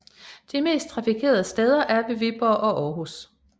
De mest trafikerede steder er ved Viborg og Aarhus